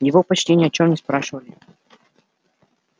его почти ни о чем не спрашивали